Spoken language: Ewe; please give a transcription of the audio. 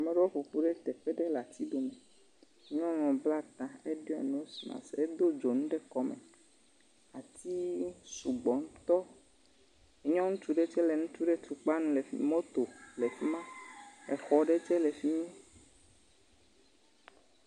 Ameɖewo ƒoƒu ɖe teƒe aɖe le ati dom. Nyɔnu bla ta heɖo nos masiki hedo dzonu ɖe kɔ me. Atiwo su gbɔ tɔ. Nyɔ ŋutsu ɖe tse le nu ɖe tukpa ŋu le mɔto le fi ma. Exɔ ɖe tse le fim.